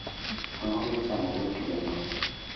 Ang'o michamo gotieno?